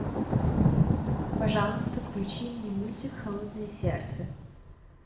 пожалуйста включи мне мультик холодное сердце